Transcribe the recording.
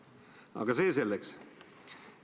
Aga see selleks.